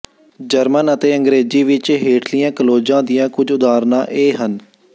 German ਅਤੇ ਅੰਗ੍ਰੇਜ਼ੀ ਵਿਚ ਹੇਠਲੀਆਂ ਕਲੋਜ਼ਾਂ ਦੀਆਂ ਕੁਝ ਉਦਾਹਰਨਾਂ ਇਹ ਹਨ